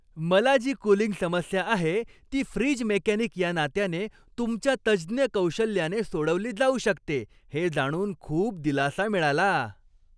मला जी कूलिंग समस्या आहे, ती फ्रीज मेकॅनिक या नात्याने तुमच्या तज्ज्ञ कौशल्याने सोडवली जाऊ शकते हे जाणून खूप दिलासा मिळाला.